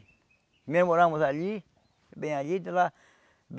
Primeiro moramos ali, bem ali de lá.